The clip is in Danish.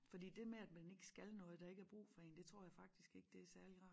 Fordi det med at man ikke skal noget og der ikke er brug for en det tror jeg faktisk ikke det særlig rart